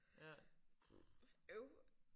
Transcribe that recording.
Puh øv